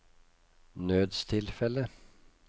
nødstilfelle